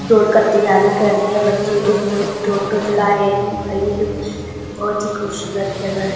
दौड़ का तैयारी कर रहे हैं बच्चे लोग वई ऑटो चला रहे हैं भई ये लोग बहोत ही खूबसूरत जगह है।